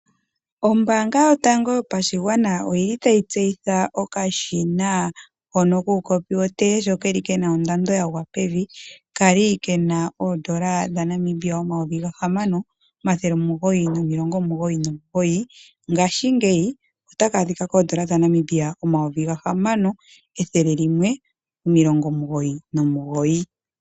Ombaanga yotango yopashigwana oyili tayi tseyitha okashina hono kuukopi wootee aho keli kena ondando yagwa pevi ,kwali kena oondola dha Namibia omayovi ga hamano omathele omugoyi nomilongo omugoyi nomugoyi ngaashingeyi otaka adhika koondola dha Namibia omayovi ga hamano emathele omilongo omugoyi nomugoyi.